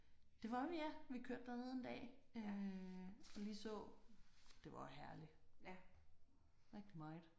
Det var vi ja vi kørte derned en dag øh og lige så. Det var jo herligt. Rigtig meget